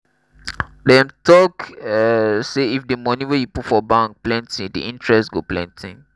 dem talk um say if di money wey you put for bank plenty di interest go plenty.